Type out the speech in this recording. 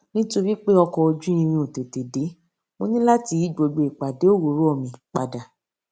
nítorí pé ọkò ojú irin ò tètè dé mo ní láti yí gbogbo ìpàdé òwúrò mi padà